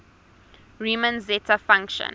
riemann zeta function